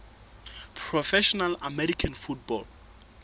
professional american football